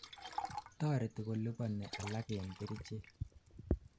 toreti koliponi alak en kerichek